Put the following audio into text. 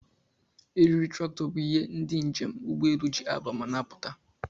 Eriri trakto bu ihe ndi njem ụgbọ elụ ji aba ma n'apụta